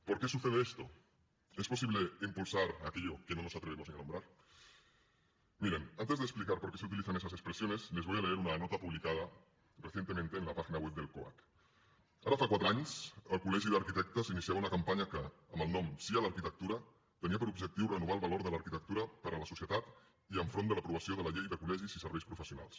por qué sucede esto es posible impulsar aquello que no nos atrevemos ni a nombrar miren antes de explicar por qué su utilizan esas expresiones les voy a leer una nota publicada recientemente en la página web del coac ara fa quatre anys el col·legi d’arquitectes iniciava una campanya que amb el nom sí a l’arquitectura tenia per objectiu renovar el valor de l’arquitectura per a la societat i enfront de l’aprovació de la llei de col·legis i serveis professionals